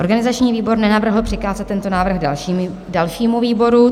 Organizační výbor nenavrhl přikázat tento návrh dalšímu výboru.